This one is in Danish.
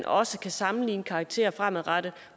også kan sammenligne karakterer fremadrettet